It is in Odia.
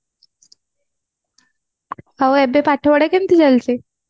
ଆଉ ଏବେ ପାଠ ପଢା କେମିତି ଚାଲିଛି